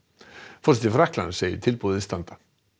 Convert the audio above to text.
forseti Frakklands segir tilboðið standa